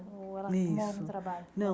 Ou ela isso arrumou algum trabalho? Não